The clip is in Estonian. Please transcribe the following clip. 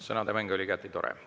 Sõnademäng oli igati tore.